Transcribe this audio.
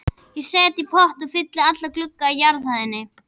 Ég set í potta og fylli alla glugga á jarðhæð.